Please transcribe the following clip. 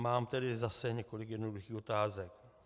Mám tedy zase několik jednoduchých otázek.